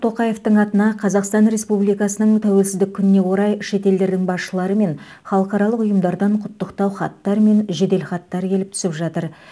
тоқаевтың атына қазақстан республикасының тәуелсіздік күніне орай шет елдердің басшылары мен халықаралық ұйымдардан құттықтау хаттар мен жеделхаттар келіп түсіп жатыр